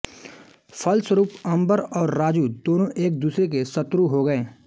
फलस्वरूप अंबर और राजू दोनों एक दूसरे के शत्रु हो गए